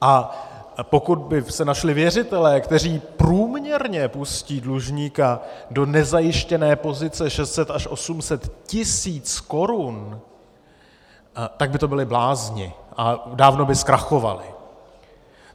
A pokud by se našli věřitelé, kteří průměrně pustí dlužníka do nezajištěné pozice 600 až 800 tisíc korun, tak by to byli blázni a dávno by zkrachovali.